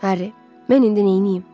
Arri, mən indi neyləyim?